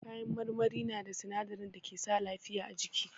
Kayan marmari na da sinadarin da ke sa lafiya a jiki.